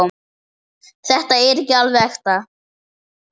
Þetta er alveg ekta.